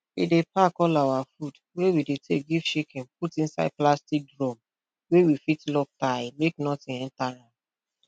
we dey pack all our our food wey we dey take give chicken put inside plastic drum wey we fit lock tigh make nothing enter am